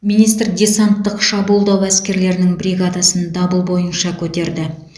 министр десанттық шабуылдау әскерлерінің бригадасын дабыл бойынша көтерді